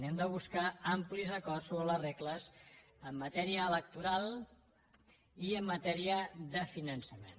hem de buscar amplis acords sobre les regles en matèria electoral i en matèria de finançament